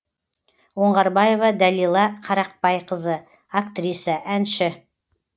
оңғарбаева дәлила қарақбайқызы актриса әнші